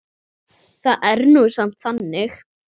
Það var nú samt þannig.